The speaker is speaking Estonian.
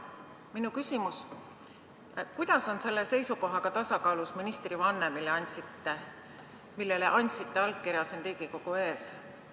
Minu küsimus: kuidas on selle seisukohaga tasakaalus ministrivanne, millele andsite allkirja siin Riigikogu ees.